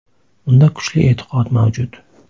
Unda kuchli e’tiqod mavjud.